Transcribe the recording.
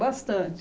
Bastante.